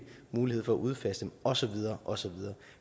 mulighed for at udfase dem og så videre og så videre